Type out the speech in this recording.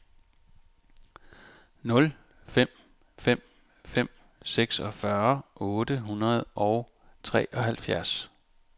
nul fem fem fem seksogfyrre otte hundrede og treoghalvfjerds